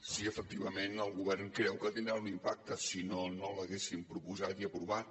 sí efectivament el govern creu que tindrà un impacte si no no l’haguéssim proposat i aprovat